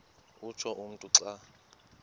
utsho umntu xa